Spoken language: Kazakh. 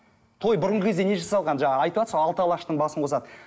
той бұрынғы кезде неге жасалған жаңа айтывасыз ғой алты алаштың басын қосады